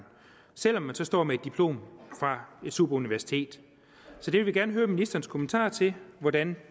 selv om man så står med et diplom fra et superuniversitet så vi vil gerne høre ministerens kommentar til hvordan